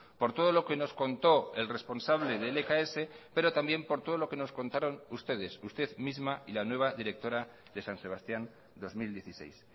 por todo lo que nos contó el responsable de lks pero también por todo lo que nos contaron ustedes usted misma y la nueva directora de san sebastián dos mil dieciséis